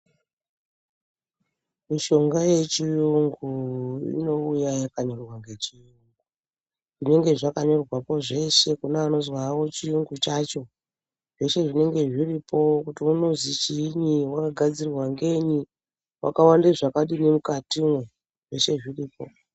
Mishonga yechiyungu inouya yakanyorwa ngechiyungu. Zvinenge zvakanyorwapo zveshe kune anozwa hawo chiyungu chacho zveshe zvinenge zviripo kuti unozwi chiinyi, wakagadzirwa ngenyi, wakawande zvakadini mukatimwo, zveshe zviripo.